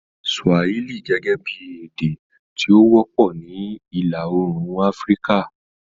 Swahili gẹ́gẹ́ bí èdè tí ó wọ́pọ̀ ní Ìlà Oòrùn Áfíríkà